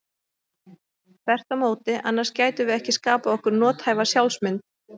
Þvert á móti, annars gætum við ekki skapað okkur nothæfa sjálfsmynd.